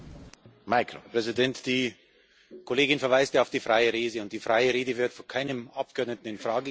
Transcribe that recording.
Herr Präsident! Die Kollegin verweist auf die freie Rede, und die freie Rede wird von keinem Abgeordneten in Frage gestellt.